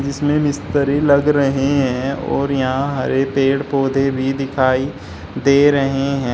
जिसमें मिस्त्री लग रहे हैं और यहां हरे पेड़ पौधे भी दिखाई दे रहे हैं।